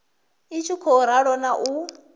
i tshi khou ralo u